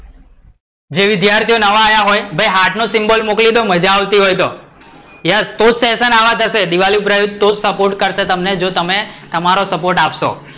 જે વિદ્યાર્થીઓ નવા આયા ભઈ એ હાર્ટ નો સિમ્બોલ મોકલી દો મજા આવતી હોય તો, યસ તો જ સેશન આવા જશે દીવાપુરા તો જ સપોર્ટ કરશે, જો તમે તમારો સપોર્ટ આપશો